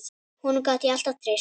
Honum gat ég alltaf treyst.